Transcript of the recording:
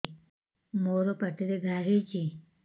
ମୋର ପାଟିରେ ଘା ହେଇଚି